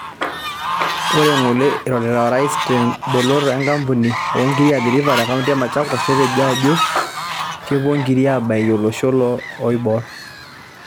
Ore ng'ole irorita orais teemboloto ee kampuni oo ngirii Athi river te kaunti ee Machakos netejo ajo kepuo nkirii abaikii oolosho loo oiborr